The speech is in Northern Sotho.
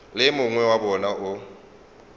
le mongwe wa bona o